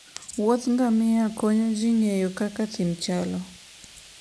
wuodh ngamia konyo ji ng'eyo kaka thim chalo